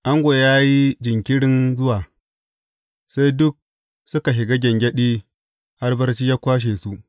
Ango ya yi jinkirin zuwa, sai duk suka shiga gyangyaɗi har barci ya kwashe su.